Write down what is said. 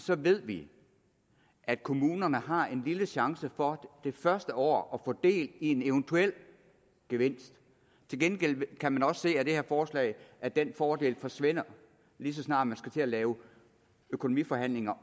ved vi at kommunerne har en lille chance for det første år få del i en eventuel gevinst til gengæld kan man også se af det her forslag at den fordel forsvinder lige så snart man skal til at lave økonomiforhandlinger